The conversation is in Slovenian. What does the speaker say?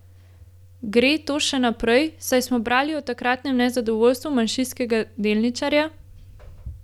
Gre to še naprej, saj smo brali o takratnem nezadovoljstvu manjšinskega delničarja?